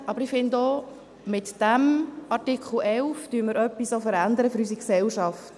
– Aber ich finde, mit dem Artikel 11 verändern wir auch etwas für unsere Gesellschaft.